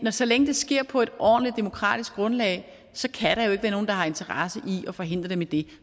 så længe det sker på et ordentligt og demokratisk grundlag kan der jo ikke være nogen der har interesse i at forhindre dem i det